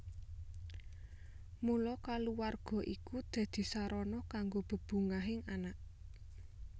Mula kulawarga iku dadi sarana kanggo bebungahing anak